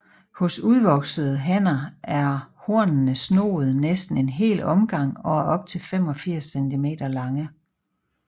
Hos udvoksede hanner er hornene snoede næsten en hel omgang og er op til 85 cm lange